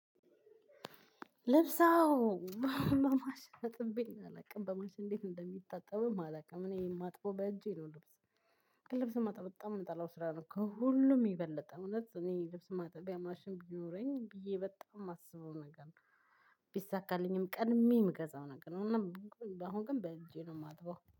ልብስ አዎ በማሽን አጥቤም አላውቅም በማሽን እንዴት እንደሚታጠብም አላውቅም እኔ የማጥበው በእጄ ነው። ልብስ ልብስ ማጠብ በጣም የምጠላው ስራ ነው። ከሁሉም እውነት እኔ ልብስ የማጥበው ማጠቢያ ማሽን ቢኖረኝ ብዬ በጣም የማስበው ነገር ነው። ቢሳካልኝም ቀድሜ የምገዛው ነገር ነው። አሁን ግን በእንጂ ነው የማተውለው